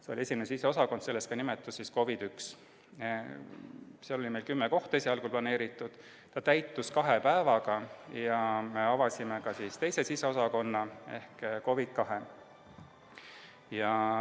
See oli esimene siseosakond, sellest ka nimetus COVID I. Sinna oli meil esialgu planeeritud kümme kohta, need täitusid kahe päevaga ja avasime ka teise siseosakonna ehk COVID II.